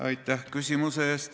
Aitäh küsimuse eest!